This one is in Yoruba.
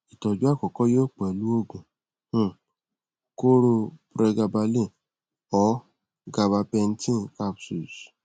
itoju akoko yoo pelu oogun um kooro pregabalin or gabapentin capsules